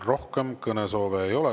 Rohkem kõnesoove ei ole.